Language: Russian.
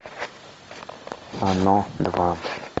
оно два